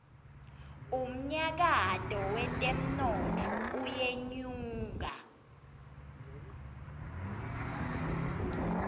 umnyakato wetemnotfo uyenyuka